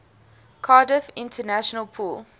cardiff international pool